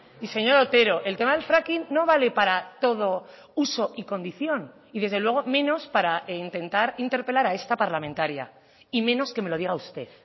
y señor otero el tema del fracking no vale para todo uso y condición y desde luego menos para intentar interpelar a esta parlamentaria y menos que me lo diga usted